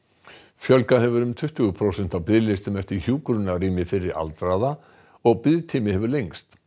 fjölgað hefur um tuttugu prósent á biðlistum eftir hjúkrunarrými fyrir aldraða og biðtími hefur lengst